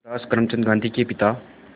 मोहनदास करमचंद गांधी के पिता